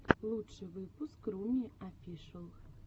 лучший выпуск руми офишэл